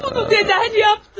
Bunu necə etdin?